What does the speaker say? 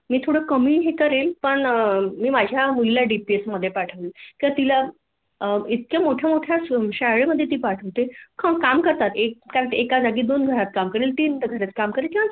मी थोड कमी हे करेन पण मी माझ्या मुलीला डीपीएस मध्ये पाठवीन तर तिला इतक्या मोठ्या माेठ्या शाळेमध्येे ती पाठवते अहो काम करताता एका जागी दोन घरात काम करेल तीन घरात काम करेल किंवा